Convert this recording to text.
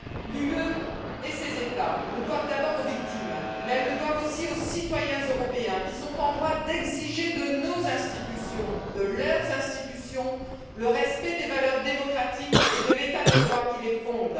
L'Union européenne et ses États le doivent d'abord aux victimes, mais ils le doivent aussi aux citoyens européens, qui sont en droit d'exiger de nos institutions, de leurs institutions, le respect des valeurs démocratiques et de l'état de droit qui les fonde.